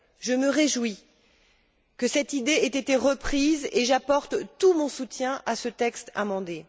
Je me réjouis que cette idée ait été reprise et j'apporte tout mon soutien à ce texte amendé.